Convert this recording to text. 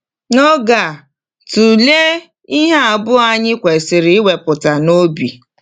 N’oge a, tụlee ihe abụọ anyị kwesịrị iwepụta n’obi.